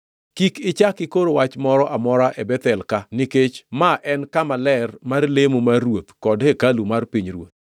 Kik ichak ikor wach moro amora e Bethel-ka nikech ma en kama ler mar lemo mar ruoth kod hekalu mar pinyruoth.”